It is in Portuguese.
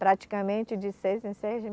Praticamente de seis em seis